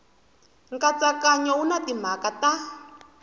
nkatsakanyo wu na timhaka ta